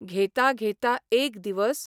घेता घेता एक दिवस